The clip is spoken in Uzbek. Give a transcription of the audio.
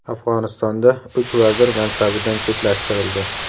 Afg‘onistonda uch vazir mansabidan chetlashtirildi.